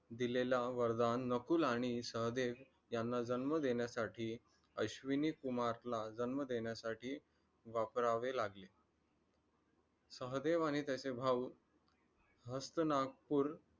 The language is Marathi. दिलेला वरदान नकुल आणि सहदेव यांना जन्म देण्यासाठी अश्विनी कुमारला जन्म देण्यासाठी वापरावे लागले. सहदेव आणि त्याचे भाऊ हस्तिनापूर